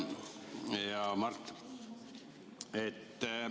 Hea Mart!